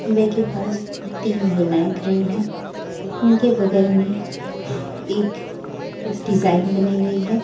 मैं के पास तीन महिलाएँ खड़ी हैं उनके बगल में एक इस डिजाइन बनी हुई है।